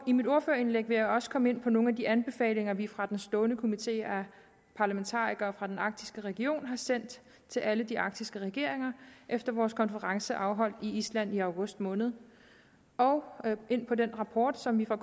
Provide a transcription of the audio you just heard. i mit ordførerindlæg vil jeg også komme ind på nogle af de anbefalinger vi fra den stående komite af parlamentarikere fra den arktiske region har sendt til alle de arktiske regeringer efter vores konference afholdt i island i august måned og ind på den rapport som vi fra